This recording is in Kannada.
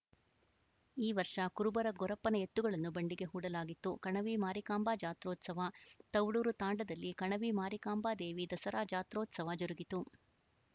ಈ ವರ್ಷ ಕುರುಬರ ಗೊರಪ್ಪನ ಎತ್ತುಗಳನ್ನು ಬಂಡಿಗೆ ಹೂಡಲಾಗಿತ್ತು ಕಣವಿ ಮಾರಿಕಾಂಬ ಜಾತ್ರೋತ್ಸವ ತೌಡೂರು ತಾಂಡದಲ್ಲಿ ಕಣವಿ ಮಾರಿಕಾಂಬ ದೇವಿ ದಸರಾ ಜಾತ್ರೋತ್ಸವ ಜರುಗಿತು